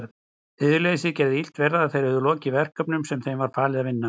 Iðjuleysið gerði illt verra, þeir höfðu lokið verkunum sem þeim var falið að vinna.